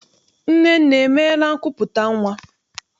Nnenne emeela nkupụta nnwa?